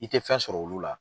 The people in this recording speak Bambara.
I tɛ fɛn sɔrɔ olu la.